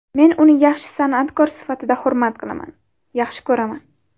Men uni yaxshi san’atkor sifatida hurmat qilaman, yaxshi ko‘raman.